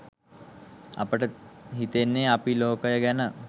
අපට හිතෙන්නෙ අපි ලෝකය ගැන